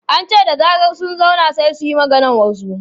An ce da zarar sun zauna, sai su yi maganar wasu.